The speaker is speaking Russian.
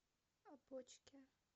опочке